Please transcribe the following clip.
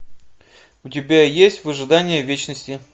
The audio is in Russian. у тебя есть в ожидании вечности